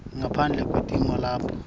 ngaphandle kwetimo lapho